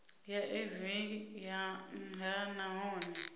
ya evee ya nha nahone